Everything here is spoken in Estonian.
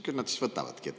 Küll nad siis võtavadki.